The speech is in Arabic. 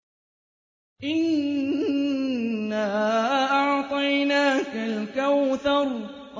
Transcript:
إِنَّا أَعْطَيْنَاكَ الْكَوْثَرَ